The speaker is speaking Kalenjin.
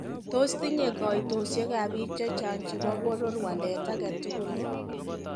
Tos tinye koitosek ab biik chechang' chebo boror waleet agetugul?